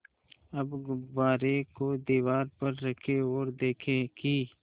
अब गुब्बारे को दीवार पर रखें ओर देखें कि